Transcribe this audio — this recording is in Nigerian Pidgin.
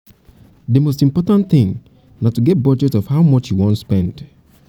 di most important thing na to get budget of how much you wan spend